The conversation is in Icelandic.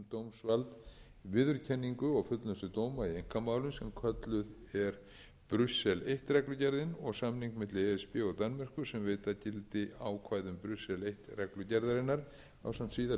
þúsund og eitt um dómsvald viðurkenningu og fullnustu dóma í einkamálum sem kölluð er brussel eins reglugerðin og samning milli e s b og danmerkur sem veita gildi ákvæðum brussel eins reglugerðarinnar ásamt síðari